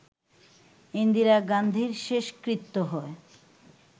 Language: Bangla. ইন্দিরা গান্ধীর শেষকৃত্য হয়